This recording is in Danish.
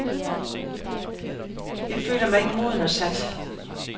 Jeg føler mig ikke moden og sat.